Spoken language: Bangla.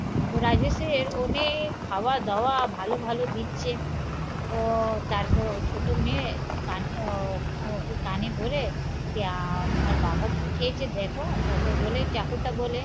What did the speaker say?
ও রাজেশের অনেক খাওয়া দাওয়া ভালো ভালো দিচ্ছে ও তারপর ও ছোট মেয়ে কান ও কি কানে ভরে আমার বাবা কি হেয়েছে দেখো তারপর বলে চাকরা বলে